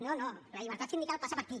no no la llibertat sindical passa per aquí